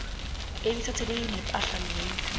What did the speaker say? eliphathelene nepahla leyo